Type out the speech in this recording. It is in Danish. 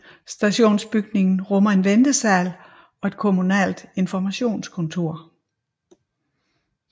Stationsbygningen rummer en ventesal og et kommunalt informationskontor